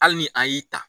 Hali ni a y'i ta